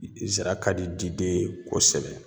Zira ka di diden ye kosɛbɛ.